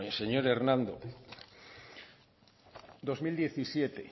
señor hernández dos mil diecisiete